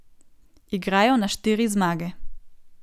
Igrajo na štiri zmage.